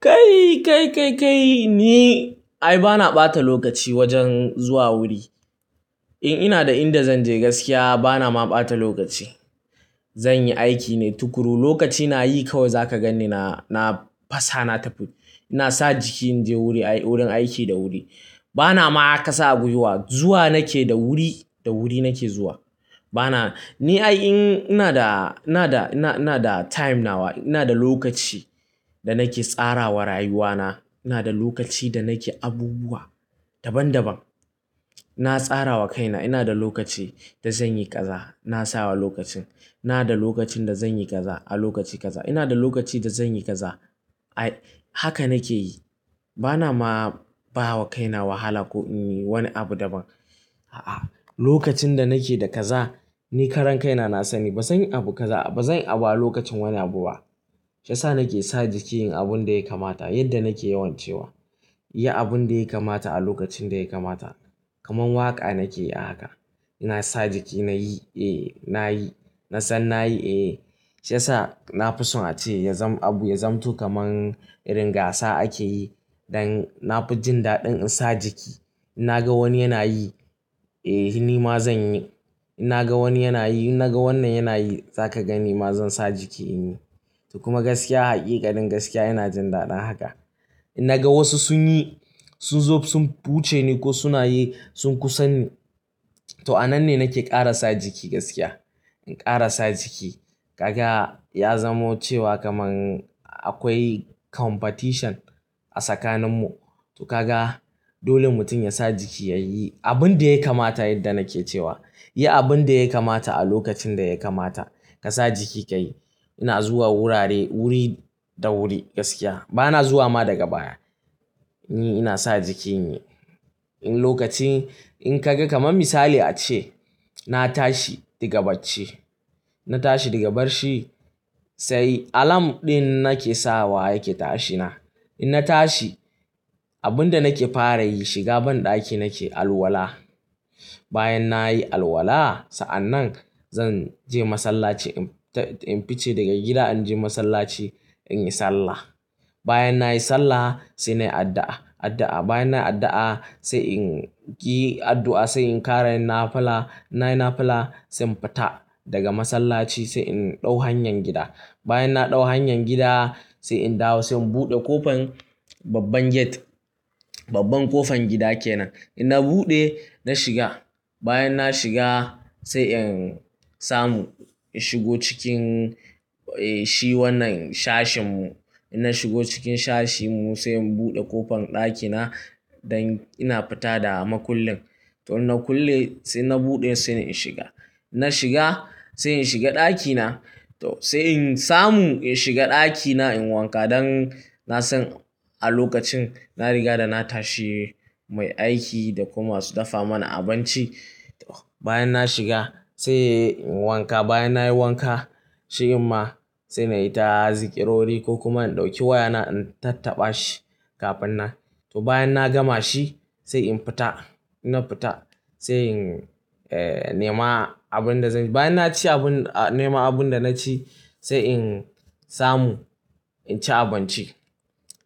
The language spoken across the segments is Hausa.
Kai, kai, kai, kai ni ai bana ɓata lokaci wajen zuwa wuri. In ina da inda zan je gaskiya bana ma ɓata lokaci. Zan yi aiki ne tukuru. Lokaci na yi kawai za ka ganni na, na fasa na tafi. Ina sa jiki in je wuri, wurin aiki da wuri. Bana ma kasa a gwiwa zuwa nake da wuri da wuri nake zuwa. Bana, ni ai in ina da, ina da, ina, ina da time nawa, ina da lokaci da nake tsara wa rayuwana. Ina da lokaci da nake abubuwa daban daban. Na tsara wa kaina ina da lokaci da zan yi kaza na sawa lokacin. Ina da lokacin da zan yi kaza a lokaci kaza. Ina da lokaci da zan yi kaza. Ai haka nake yi. Bana ma bawa kaina wahala ko in yi wani abu daban. A'a, lokacin da nake da kaza ni karan kaina na sani bazan yi abu kaza, bazan yi abu a lokacin wani abu ba. Shi yasa nake sa jiki inyi abun da ya kamata yadda nake yawan cewa. Yi abun da ya kamata a lokacin da ya kamata. Kaman waƙa nake yi haka. Ina sa jiki na yi, eh na yi, na san na yi eh. Shi yasa na fi son a ce ya zam abu, ya zamto kaman irin gasa ake yi dan na fi jin daɗin in sa jiki. In na ga wani yana yi, eh ni ma zan yi. In na ga wani yana yi, in na ga wannan yana yi za ka gani ma zan sa jiki in yi. To kuma gaskiya, haƙiƙa din gaskiya ina jin daɗin haka. In na ga wasu sun yi, sun zo sun wuce ni ko suna yi sun kusa ni, to a nan ne nake ƙara sa jiki gaskiya. In ƙara sa jiki. Kaga ya zamo cewa kaman akwai competition a tsakaninmu. To kaga dole mutum ya sa jiki ya yi abun da ya kamata yadda nake cewa. Yi abun da ya kamata a lokacin da ya kamata. Ka sa jiki ka yi. Ina zuwa wurare wuri da wuri gaskiya. Bana zuwa ma daga baya. Ni ina sa jiki in yi. In lokacin in ka ga kaman misali a ce na tashi daga bacci, na tashi daga barci sai alam ɗin nake sawa yake tashina. In na tashi abun da nake fara yi shiga banɗaki nake alwala. Bayan nayi alwala sa'anan zan je masallaci in fice daga gida in je masallaci in yi sallah. Bayan nayi sallah sai nayi addu'a, addu'a. Bayan nayi addu'a sai in yi addu'a sai in ƙara yin nafila. Nayi nafila sai in fita daga masallaci sai in ɗau hanyar gida. Bayan na ɗau hanyar gida sai in dawo sai in buɗe ƙofan babban gate, babban ƙofan gida kenan. In na buɗe, na shiga. Bayan na shiga sai in samu in shigo cikin, eh shi wannan sashen mu. In na shigo cikin sashen mu sai in buɗe ƙofan ɗakina dan ina fita da makullin. To in nakulle sai na buɗe sai in shiga. Na shiga sai in shiga ɗakina. To sai in samu in shiga ɗakina in wanka dan na san a lokacin na riga da na tashi mai aiki da kuma su dafa mana abinci. Bayan na shiga sai in wanka. Bayan nayi wanka shi amma sai nayi ta zakirori ko kuma in ɗauki wayana in tattaba shi kafin na. To bayan na gama shi sai in fita. Ina fita sai in, eh nema abun da zan yi. Bayan na ci abun, nema abun da na ci sai in samu in ci abinci.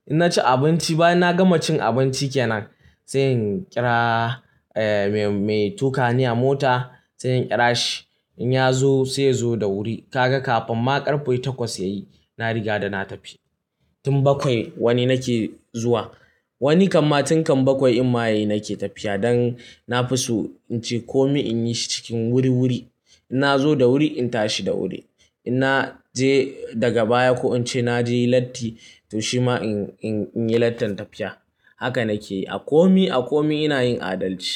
In na ci abinci bayan na gama cin abinci kenan sai in ƙira, eh me, me tukani a mota sai in ƙira shi. In ya zo sai ya zo da wuri. Kaga kafin ma ƙarfe takwas yayi na riga da na tafi. Tun bakwai wani nake zuwa. Wani kamma tun kan bakwai in maye nake tafiya dan na fi so in ce kome in yi shi cikin wuri wuri. In na zo da wuri in tashi da wuri. In na je daga baya ko in ce na je latti to shi ma in, in, in yi lattin tafiya. Haka nake yi. A komi, a komi ina yin adalci.